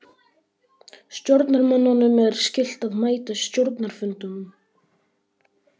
Stjórnarmönnum er skylt að mæta á stjórnarfundum.